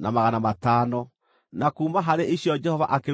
30,500, na kuuma harĩ icio Jehova akĩrutĩrwo ndigiri 61;